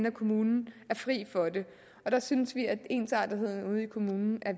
af kommunen er fri for det der synes vi at ensartethed ude i kommunen er